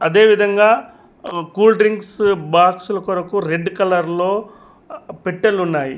అదేవిధంగా అ cool drinks బాక్సుల్ కొరకు రెడ్ కలర్ లో అ పెట్టెలు ఉన్నాయి.